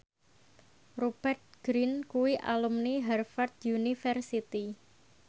Rupert Grin kuwi alumni Harvard university